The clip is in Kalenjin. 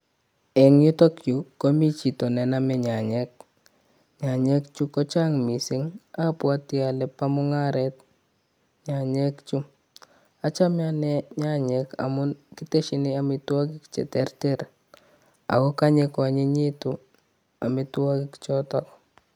Eng yutok yu komi chito nenome nyanyek, nyanyek chuu kochang' missing, abwoti ole bo mung'aret nyanyek chuu. Achame ane nyanyek amun kitesyin amitwogik cheterter ako konye koanyinyitun amitwogik choton